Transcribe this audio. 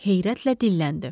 Heyrətlə dilləndi.